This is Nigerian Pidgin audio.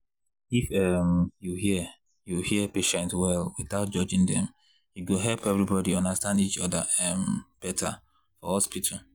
if um you hear you hear patient well without judging dem e go help everybody understand each other um better for hospital.